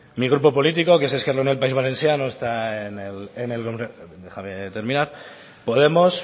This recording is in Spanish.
mi grupo político que es país valenciano está en el déjame terminar podemos